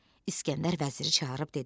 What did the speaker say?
İskəndər vəziri çağırıb dedi: